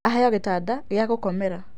Aheo gĩtanda gĩa gũkomera.